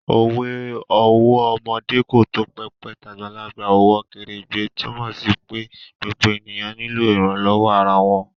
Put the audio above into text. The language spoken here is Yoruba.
Òwe 'ọwọ́ ọmọdé kò tó pẹpẹ, tàgbàlagbà ò wọ kèrèǹgbè' túnmọ̀ sí pé gbogbo ènìyàn nílò ìrànlọ́wọ́ ara wọn